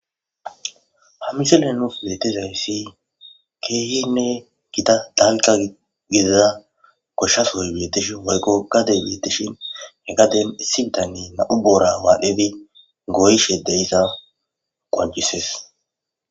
ha misile nuus metezayssi keehinne gita dalqa gidada koshshasoy beetishin waykqo kade beetishin heqadem issibitanne na7u boora waadhebi goyshe deyissa qwancises